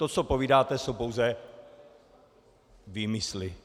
To, co povídáte, jsou pouze výmysly.